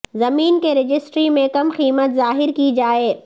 زمین کی رجسٹری میں کم قیمت ظاہر کی جائے